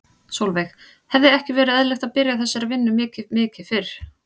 Sólveig: Hefði ekki verið eðlilegt að byrja á þessari vinnu mikið mikið fyrr?